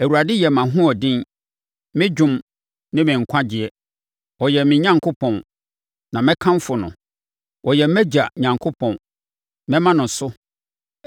“ Awurade yɛ mʼahoɔden, me dwom ne me nkwagyeɛ. Ɔyɛ me Onyankopɔn, na mɛkamfo no. Ɔyɛ mʼagya Onyankopɔn—Mɛma no so.